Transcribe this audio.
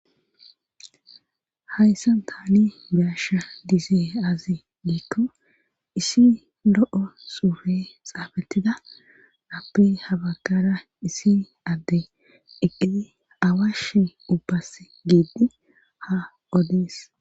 Hayssan taani biyasha disee azi giikko issi lo7o suufe xaabatida appey habakara issi adde eqqidi awashe ubbas giidi ha odes